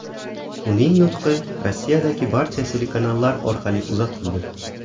Uning nutqi Rossiyadagi barcha telekanallar orqali uzatildi.